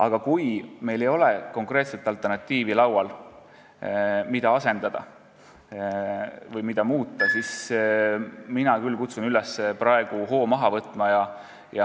Aga kuna meil ei ole laual konkreetset alternatiivi, millega olemasolev süsteem asendada, siis mina küll kutsun üles praegu hoo maha võtma.